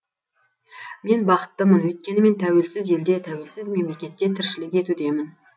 мен бақыттымын өйткені мен тәуелсіз елде тәуелсіз мемлекетте тіршілік етудемін